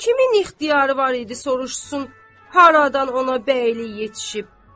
Kimin ixtiyarı var idi soruşsun, haradan ona bəylik yetişib?